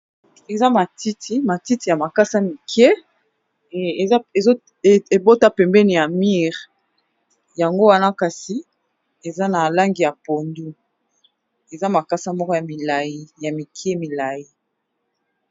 Eza matiti ,matiti ya makasa mike e bota pembeni ya mur, yango wana kasi eza na langi ya pondu, eza makasa moko ya mike molayi.